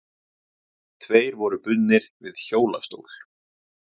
Tveir voru bundnir við hjólastól.